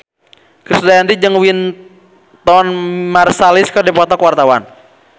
Krisdayanti jeung Wynton Marsalis keur dipoto ku wartawan